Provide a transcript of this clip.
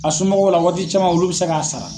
A somɔgɔw la waati caman olu bɛ se k'a sara.